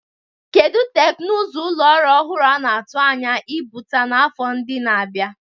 Kedu teknụzụ ụlọ ọrụ ọhụrụ a na-atụ anya ịpụta n'afọ ndị na-abịa?